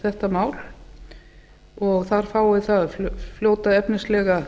þetta mál og þar fái það fljóta efnislega